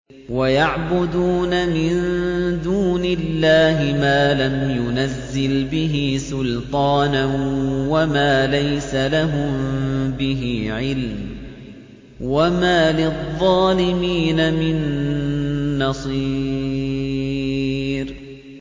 وَيَعْبُدُونَ مِن دُونِ اللَّهِ مَا لَمْ يُنَزِّلْ بِهِ سُلْطَانًا وَمَا لَيْسَ لَهُم بِهِ عِلْمٌ ۗ وَمَا لِلظَّالِمِينَ مِن نَّصِيرٍ